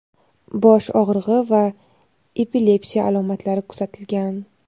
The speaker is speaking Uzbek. bosh og‘rig‘i va epilepsiya alomatlari kuzatilgan.